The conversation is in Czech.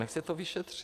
Ať se to vyšetří.